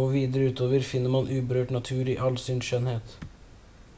og videre utover finner man uberørt natur i all sin skjønnhet